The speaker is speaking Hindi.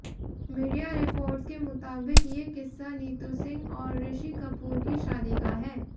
मीडिया रिपोर्ट्स के मुताबिक ये किस्सा नीतू सिंह और ऋषि कपूर की शादी का है